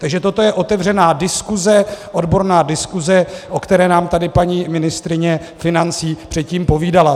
Takže toto je otevřená diskuse, odborná diskuse, o které nám tady paní ministryně financí předtím povídala.